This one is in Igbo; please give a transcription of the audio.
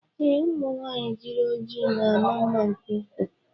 Ee, ụmụ nwanyị jiri ojiji na ama mma nke ukwuu.